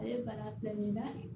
Ale bana filɛ nin ye n'a kɛ